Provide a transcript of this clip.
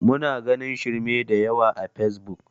Muna ganin shirme da yawa a fesbuk